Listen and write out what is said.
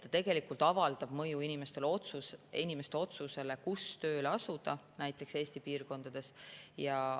See tegelikult avaldab mõju inimeste otsusele, kus tööle asuda, näiteks kus Eesti piirkonnas.